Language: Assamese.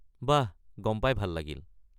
বাহ! গম পাই ভাল লাগিল।